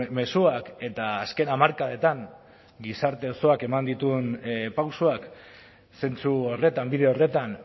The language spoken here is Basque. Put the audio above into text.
mezuak eta azken hamarkadetan gizarte osoak eman dituen pausoak zentzu horretan bide horretan